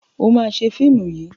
O ma ṣe fíìmù yìí!